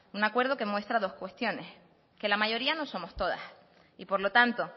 un acuerdo que muestra dos cuestiones que la mayoría no somos todas y por lo tanto